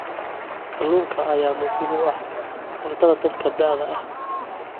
Kalluunka ayaa muhiim u ah cuntada dadka da'da ah.